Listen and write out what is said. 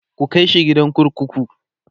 ku kaishi gidan kurkuku!